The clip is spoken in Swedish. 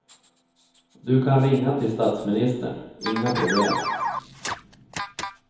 Du kan ringa till statsministern, inga problem.